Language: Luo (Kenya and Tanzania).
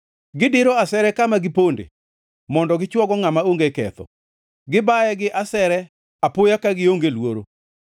Gidiro asere kama giponde mondo gichwogo ngʼama onge ketho; gibaye gi asere apoya ka gionge luoro.